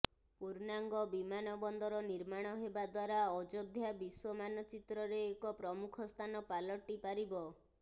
ପୂର୍ଣ୍ଣାଙ୍ଗ ବିମାନ ବନ୍ଦର ନିର୍ମାଣ ହେବା ଦ୍ବାରା ଅଯୋଧ୍ୟା ବିଶ୍ବ ମାନଚିତ୍ରରେ ଏକ ପ୍ରମୁଖ ସ୍ଥାନ ପାଲଟି ପାରିବ